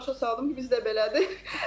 Mən də başa saldım ki, bizdə belədir.